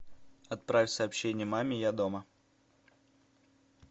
отправь сообщение маме я дома